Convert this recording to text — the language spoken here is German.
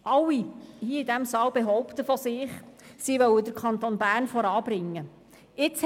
Alle hier im Saal behaupten von sich, dass sie den Kanton Bern voranbringen wollen.